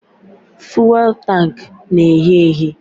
Fụ́élú tanku na-ehị ehị